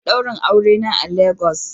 Za a yi daurin aure na a Legas